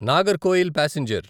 Nagercoil passenger